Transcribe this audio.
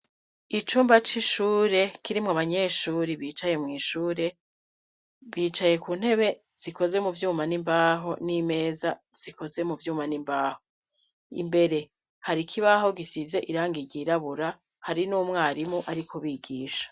Icumba c'ishure kirimwo abanyeshure bicaye mw'ishure, bicaye ku ntebe zikoze mu vyuma n'imbaho n'imeza zikoze mu vyuma n'imbaho. Imbere hari ikibaho gisize irange ryirabura, hari n'umwarimu ari kubigisha.